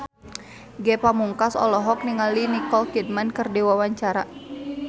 Ge Pamungkas olohok ningali Nicole Kidman keur diwawancara